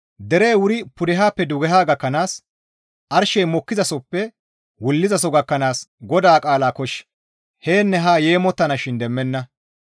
Derey wuri pudehappe dugeha gakkanaas arshey mokkizasoppe wullizaso gakkanaas GODAA qaala kosh yaanne haa yeemottanashin demmenna.